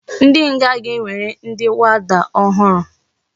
Ndi nga ga enwere ndi warder ohuru